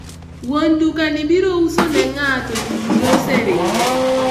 wuon duka ni biro uso ne ng'a to jiduto oseringe?